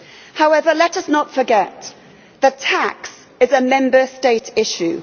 However, let us not forget that tax is a Member State issue.